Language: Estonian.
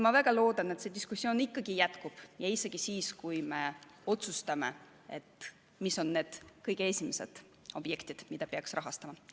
Ma väga loodan, et see diskussioon ikkagi jätkub, isegi siis, kui me otsustame ära, mis on need kõige esimesed objektid, mida peaks rahastama.